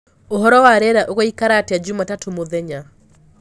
uhoro wa rĩera ugaikara atĩa jumatatũ mũthenya